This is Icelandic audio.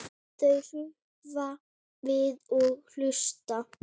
Þau hrökkva við og hlusta.